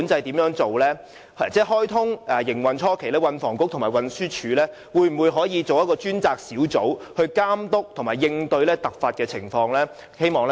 高鐵開通營運初期，運輸及房屋局和運輸署可否成立一個專責小組，監督和應對突發情況？